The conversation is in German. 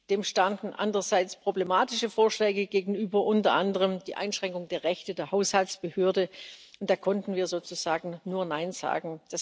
Dem standen andererseits problematische Vorschläge gegenüber, unter anderem die Einschränkung der Rechte der Haushaltsbehörde, und da konnten wir sozusagen nur Nein sagen.